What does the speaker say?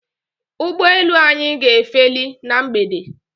Ụgbọelu anyị ga-efeli na mgbede